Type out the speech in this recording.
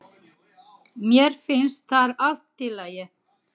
Mér finnst það allt í lagi